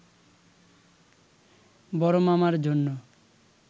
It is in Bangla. বড়মামার জন্য